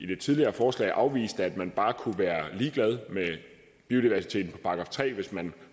det tidligere forslag afviste at man bare kunne være ligeglad med biodiversiteten og tre hvis man